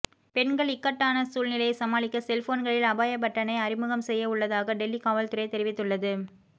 பெண்கள் இக்கட்டான சூழ்நிலையை சமாளிக்க செல்போன்களில் அபாய பட்டனை அறிமுகம் செய்ய உள்ளதாக டெல்லி காவல் துறை தெரிவித்துள்ளது